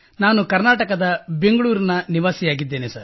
ನಾನು ಕರ್ನಾಟಕದ ಬೆಂಗಳೂರಿನ ನಿವಾಸಿಯಾಗಿದ್ದೇನೆ